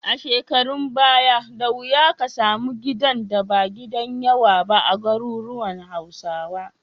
A shekarun baya, da wuya ka samu gidan da ba gidan yawa ba a garuruwan Hausawa.